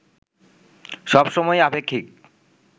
সবসময়ই আপেক্ষিক